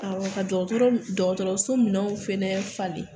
Awɔ ka dɔgɔtɔrɔso minɛnw fɛnɛ falen .